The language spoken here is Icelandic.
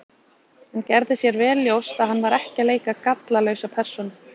Hann gerði sér vel ljóst að hann var ekki að leika gallalausa persónu.